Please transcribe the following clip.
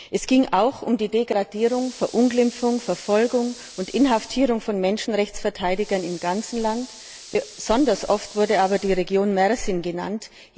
Es ging auch um die Degradierung, Verunglimpfung, Verfolgung und Inhaftierung von Menschenrechtsverteidigern im ganzen Land, besonders oft wurde aber die Region Mersin genannt.